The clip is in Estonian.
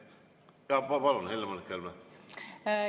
Ma palun, Helle‑Moonika Helme!